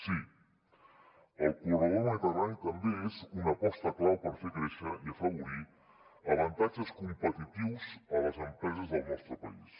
sí el corredor mediterrani també és una aposta clau per fer créixer i afavorir avantatges competitius a les empreses del nostre país